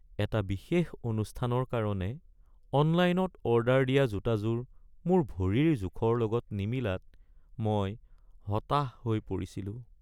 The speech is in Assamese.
এটা বিশেষ অনুষ্ঠানৰ কাৰণে অনলাইনত অৰ্ডাৰ দিয়া জোতাযোৰ মোৰ ভৰিৰ জোখৰ লগত নিমিলাত মই হতাশ হৈ পৰিছিলোঁ।